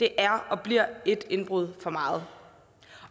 er og bliver et indbrud for meget